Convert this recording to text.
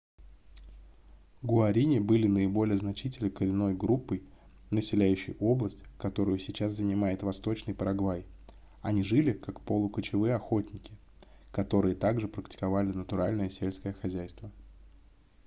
гуарини были наиболее значительной коренной группой населяющей область которую сейчас занимает восточный парагвай они жили как полукочевые охотники которые также практиковали натуральное сельское хозяйство